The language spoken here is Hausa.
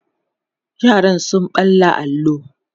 yaran sun ɓalla allo